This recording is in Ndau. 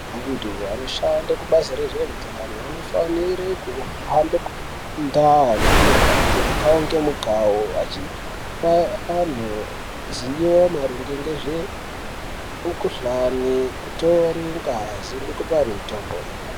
Antu anoshande kubazi rezveutano vanofanire kuhambe kundau kumagange mukange mukawo achipa antu ziyo maringe ngezve mukuhlani nekutore ngazi ngekupe antu mutombo.